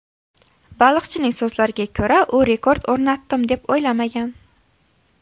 Baliqchining so‘zlariga ko‘ra, u rekord o‘rnatdim, deb o‘ylamagan.